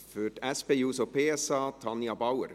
Für die SP-JUSO-PSA, Tanja Bauer.